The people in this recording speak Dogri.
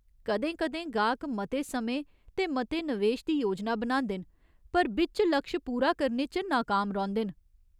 कदें कदें गाह्क मते समें ते मते नवेश दी योजना बनांदे न पर बिच्च लक्श पूरा करने च नाकाम रौंह्दे न।